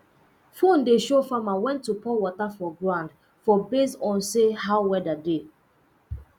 phone dey show farmer when to pour water for ground for based on say how weather dey